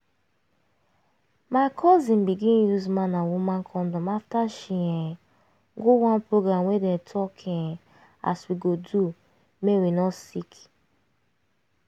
my cousin begin use man and woman condom after she um go one program wey dem talk um as we go do make we no sick